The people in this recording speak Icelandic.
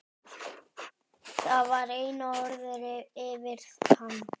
Það var eina orðið yfir hann.